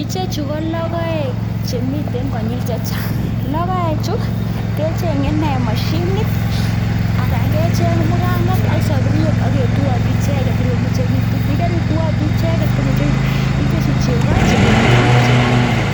Ichechu ko logoek chemitei konyil chechang, logoekchu kechenge nee mashinit anan ko kecheng mukanget ak safuriet ak ketuio tui icheket ipkomengechitu yakarituatui ipkomengechitu itesti chego chebelei bich che kakiyo,